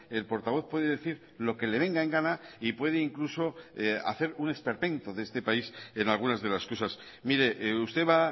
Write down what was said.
el portavoz puede decir lo que le venga en gana y puede incluso hacer un esperpento de este país en algunas de las cosas mire usted va